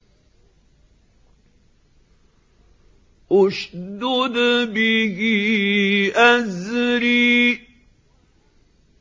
اشْدُدْ بِهِ أَزْرِي